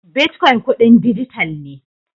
Bitcoin kudin dijital ne.